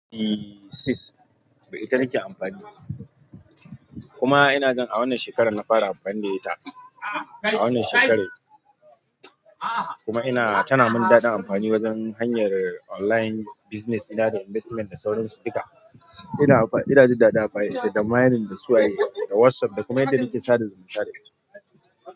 Eeee sis, ita nake amfani kuma ina gan a wannan shekarar na fara amfani da ita. A wannan shekarar kuma tana mun daɗa amfani wajen hanyar online business ina da investment da sauran su duka. Ina ji daɗin amfani da ita da mining da suwaye da WhatsApp da kuma inda nake sada zumunta da ita.